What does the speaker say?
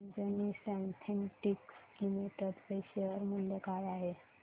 आज Anjani synthetics limited चे share मूल्य काय आहे